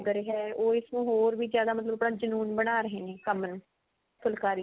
ਲੱਗ ਰਿਹਾ ਉਹ ਇਸਨੂੰ ਹੋਰ ਜਿਆਦਾ ਮਤਲਬ ਆਪਣਾ ਜਨੂਨ ਬਣਾ ਰਹੇ ਨੇ ਫੁਲਕਾਰੀ